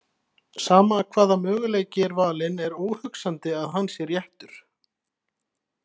Sama hvaða möguleiki er valinn er óhugsandi að hann sé réttur.